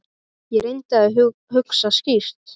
Ég reyndi að hugsa skýrt.